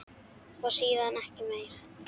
Og síðan ekki meir?